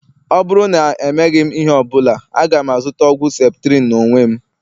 Ọ bụrụ na emeghị ihe ọ bụla, aga m azụta ọgwụ septrin n'onwe m